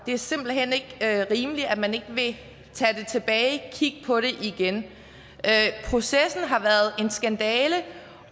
det er simpelt hen ikke rimeligt at man ikke vil tage det tilbage og kigge på det igen processen har været en skandale